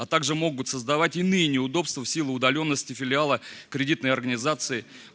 а также могут создавать иные неудобства в силу удалённости филиала кредитной организации